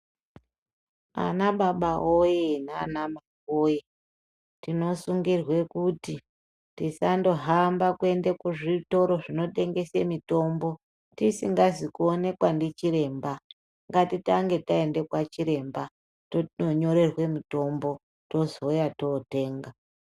Ana baba woye nana mai woye tinosungirwe kuti tisandohamba kuende kuzvitoro zvinotengese mutombo tisingazi kuonekwa ndichiremba ngatitange taenda kwachiremba tononyorerwe mutombo tozouya totenga.